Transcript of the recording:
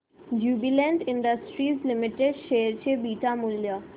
Jubilant Industries Limited share चे beta मूल्य